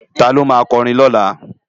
Táló má kòrin lólá?